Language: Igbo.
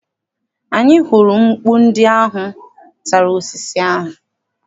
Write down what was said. Anyị hụrụ mkpu ndị ahụ tara osisi ahụ.